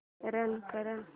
run कर